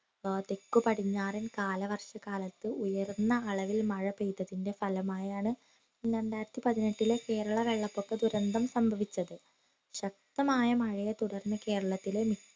ആഹ് തെക്കു പടിഞ്ഞാറൻ കാലവർഷ കാലത്തു ഉയർന്ന അളവിൽ മഴ പെയ്തതിന്റെ ഫലമായാണ് രണ്ടായിരത്തി പതിനെട്ടിലെ കേരളം വെള്ളപ്പൊക്ക ദുരന്തം സംഭവിച്ചത് ശക്തമായ മഴയെ തുടർന്ന് കേരളത്തിലെ മി